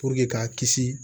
k'a kisi